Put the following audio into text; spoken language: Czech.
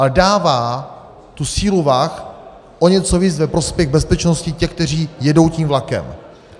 Ale dává tu sílu vah o něco víc ve prospěch bezpečnosti těch, kteří jedou tím vlakem.